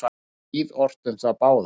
Var níð ort um þá báða.